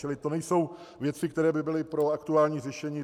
Čili to nejsou věci, které by byly pro aktuální řešení.